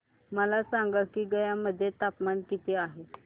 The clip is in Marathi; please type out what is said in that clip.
मला सांगा की गया मध्ये तापमान किती आहे